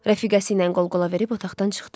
Rəfiqəsiylə qol-qola verib otaqdan çıxdı.